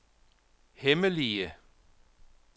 hemmelige